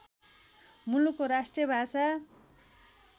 मुलुकको राष्ट्रिय भाषा